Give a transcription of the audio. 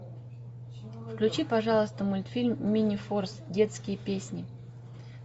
включи пожалуйста мультфильм минифорс детские песни